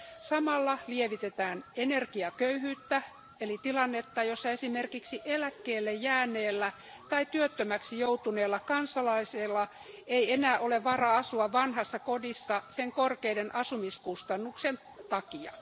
Samalla lievitetään energiaköyhyyttä eli tilannetta, jossa esimerkiksi eläkkeelle jääneellä tai työttömäksi joutuneella kansalaisella ei enää ole varaa asua vanhassa kodissa sen korkeiden asumiskustannusten takia.